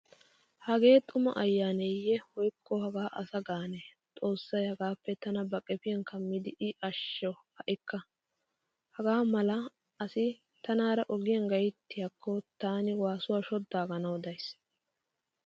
Hagee xumaa ayyaaneeyye woykko hagaa asa gaane xoossay hagaappe tana ba qefiyan kammidi i ashsho ha'ikka. Hagaa mala asi tanaara ogiyan gayttiyaakko taani waasuwa shoddaaganawu days.